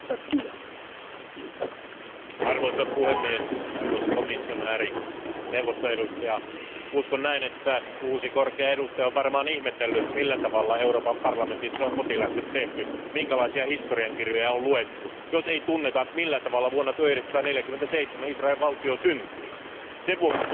Arvoisa puhemies, arvoisa komission jäsen ja neuvoston edustaja, uskon, että uusi korkea edustaja on varmaan ihmetellyt, millä tavalla Euroopan parlamentissa on kotiläksyt tehty, minkälaisia historiankirjoja on luettu, jos ei tunneta millä tavalla vuonna 1947 Israelin valtio syntyi. Sen vuoksi tuntuu hiukan erikoiselta myös tämä